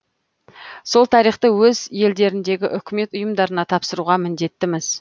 сол тарихты өз елдеріндегі үкімет ұйымдарына тапсыруға міндеттіміз